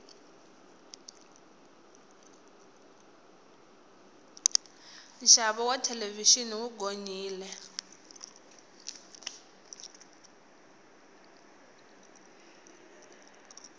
nxavo wa thelevixini wu gonyile